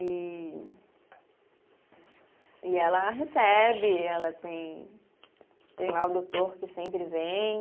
E, e ela recebe, ela tem, tem lá o doutor que sempre vem.